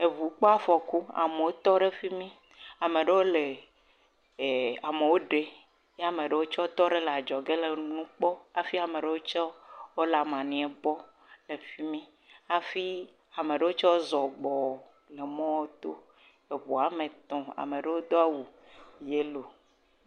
Eŋu kpɔ afɔku, amewo tɔ ɖe fi mí. Ame ɖewo le ɛɛ amewo ɖe. Ye ma ɖewo tsɛ tɔ ɖe le adzɔge le nu kpɔ hafi ama ɖewo tsɛ, wole maniɛ bɔ le fi mí. Hafi ama ɖewo tsɛ zɔ gbɔɔ emɔɔ to. Eŋu ame tɔ̃, ama ɖewo do awu yɛlo